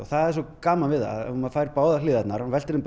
það er svo gaman maður fær báðar hliðarnar og veltir þeim